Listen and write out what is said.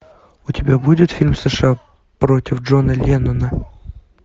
у тебя будет фильм сша против джона леннона